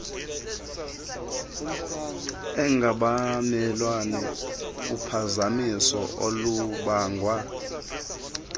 engabamelwane uphazamiso olubangwa